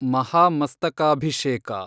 ಮಹಾಮಸ್ತಕಾಭಿಷೇಕ